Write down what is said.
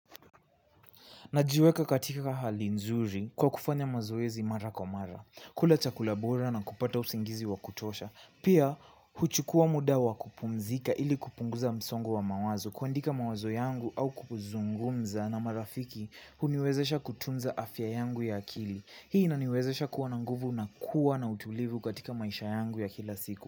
Najiweka katika hali nzuri kwa kufanya mazoezi mara kwa mara, kula chakula bora na kupata usingizi wa kutosha, pia huchukua muda wa kupumzika ili kupunguza msongo wa mawazo kuandika mawazo yangu au kuzungumza na marafiki huniwezesha kutunza afya yangu ya akili. Hii inaniwezesha kuwa na nguvu na kuwa na utulivu katika maisha yangu ya kila siku.